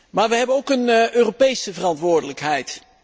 Maar we hebben ook een Europese verantwoordelijkheid.